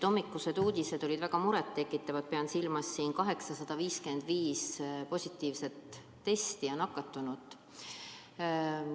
Hommikused uudised olid väga muret tekitavad – pean silmas 855 positiivset testi ja nakatunut.